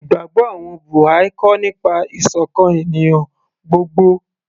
ìgbàgbọ́ àwọn Buha'i kọ́ nípa ìsọ̀kan ènìyàn gbogbo